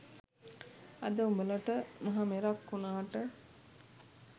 අද උඹලට මහ මෙරක් වුනාට